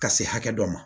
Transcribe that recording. Ka se hakɛ dɔ ma